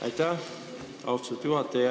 Aitäh, austatud juhataja!